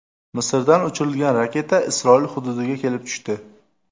Misrdan uchirilgan raketa Isroil hududiga kelib tushdi.